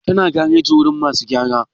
tana gareji wajen masu gyara